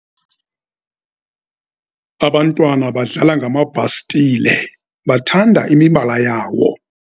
Abantwana badlala ngamabhastile bathanda imibala yawo.